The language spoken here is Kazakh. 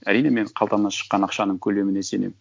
әрине мен қалтамнан шыққан ақшаның көлеміне сенемін